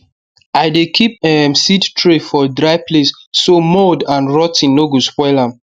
i dey keep um seed tray for dry place so mould and rot ten no go spoil am